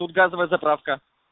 тут газовая заправка